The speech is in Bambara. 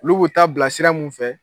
Olu bu taa bila sira min fɛ.